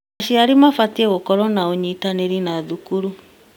Aciari mabatiĩ gũkorwo na ũnyitanĩri na thukuru.